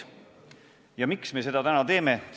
Ja miks me seda täna teeme?